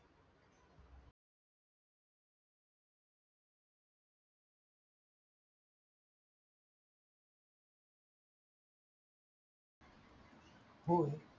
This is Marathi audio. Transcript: होय